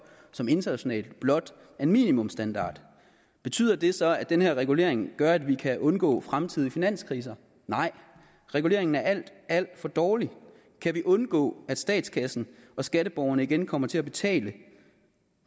som internationalt blot er minimumsstandard betyder det så at den her regulering gør at vi kan undgå fremtidige finanskriser nej reguleringen er alt alt for dårlig kan vi undgå at statskassen og skatteborgerne igen kommer til at betale